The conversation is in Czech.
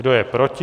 Kdo je proti?